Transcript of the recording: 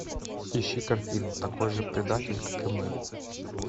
ищи картину такой же предатель как и мы